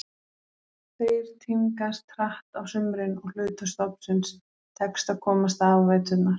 Þeir tímgast hratt á sumrin og hluta stofnsins tekst að komast af á veturna.